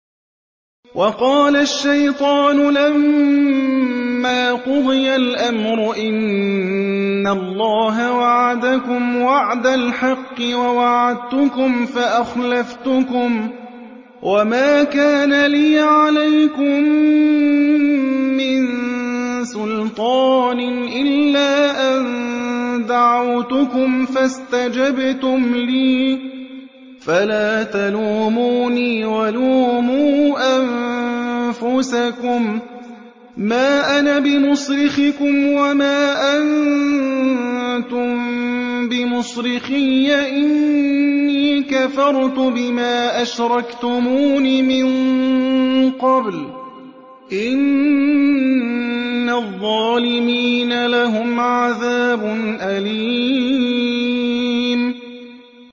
وَقَالَ الشَّيْطَانُ لَمَّا قُضِيَ الْأَمْرُ إِنَّ اللَّهَ وَعَدَكُمْ وَعْدَ الْحَقِّ وَوَعَدتُّكُمْ فَأَخْلَفْتُكُمْ ۖ وَمَا كَانَ لِيَ عَلَيْكُم مِّن سُلْطَانٍ إِلَّا أَن دَعَوْتُكُمْ فَاسْتَجَبْتُمْ لِي ۖ فَلَا تَلُومُونِي وَلُومُوا أَنفُسَكُم ۖ مَّا أَنَا بِمُصْرِخِكُمْ وَمَا أَنتُم بِمُصْرِخِيَّ ۖ إِنِّي كَفَرْتُ بِمَا أَشْرَكْتُمُونِ مِن قَبْلُ ۗ إِنَّ الظَّالِمِينَ لَهُمْ عَذَابٌ أَلِيمٌ